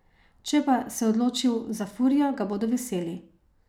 Če pa se odločil za Furijo, ga bodo veseli.